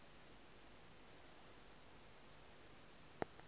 ke re go be go